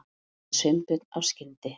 sagði Sveinbjörn af skyndi